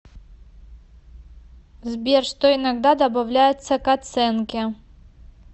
сбер что иногда добавляется к оценке